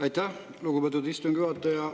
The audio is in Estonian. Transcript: Aitäh, lugupeetud istungi juhataja!